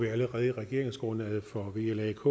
vi allerede i regeringsgrundlaget for vlak